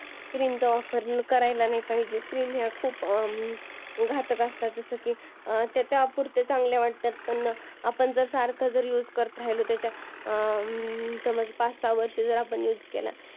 चा वापर करायला नाही पाहिजे cream या खूप घातक असतात जसे की त्या तात्पुरत्या चांगल्या वाटतात पण जर सारखा जर त्याचा use करत राहिलो तर समज पाच सहा वर्ष जर आपण use केला